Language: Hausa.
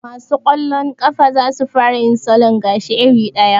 Ma su kwallon ƙafa za su fara yin salon gashi iri ɗaya